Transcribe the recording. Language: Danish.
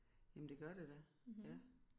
Jamen det gør det da ja